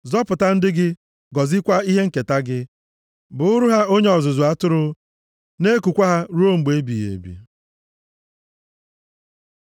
Zọpụta ndị gị, gọzikwaa ihe nketa gị; + 28:9 Maọbụ, ndị nke gị buuru ha onye ọzụzụ atụrụ, na-ekukwa ha ruo mgbe ebighị ebi.